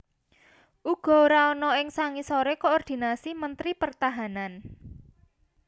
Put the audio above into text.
uga ora ana ing sangisoré koordinasi Mentri Pertahanan